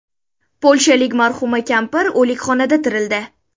Polshalik marhuma kampir o‘likxonada tirildi.